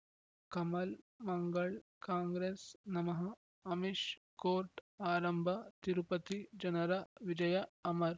ಕಮಲ್ ಮಂಗಳ್ ಕಾಂಗ್ರೆಸ್ ನಮಃ ಅಮಿಷ್ ಕೋರ್ಟ್ ಆರಂಭ ತಿರುಪತಿ ಜನರ ವಿಜಯ ಅಮರ್